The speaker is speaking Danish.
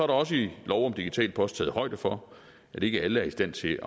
der også i lov om digital post taget højde for at ikke alle er i stand til at